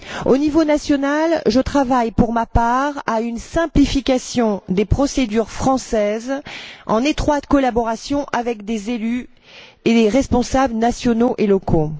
Au niveau national, je travaille, pour ma part, à une simplification des procédures françaises, en étroite collaboration avec des élus et les responsables nationaux et locaux.